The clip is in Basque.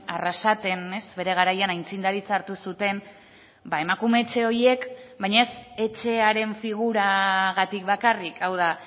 arrasaten bere garaian aitzindaritza hartu zuten emakume etxe horiek baina ez etxearen figuragatik bakarrik hau da